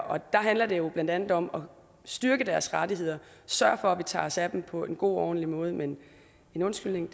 og der handler det jo blandt andet om at styrke deres rettigheder sørge for at vi tager os af dem på en god og ordentlig måde men en undskyldning